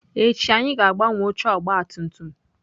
Echi anyị ga-agbanwe oche ọgabtumtum.